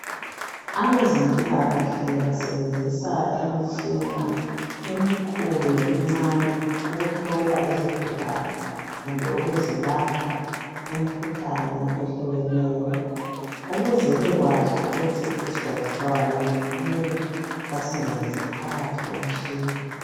Abezempilakahle basebenzisa imitshina emikhulu lemincane ukuhlola izigulane kumbe ukuzilapha imikhuhlane ehlukeneyo. Ukuze bebekwazi ukuthi isigulane sibulawa yini kumele basingenise phakathi komtshina.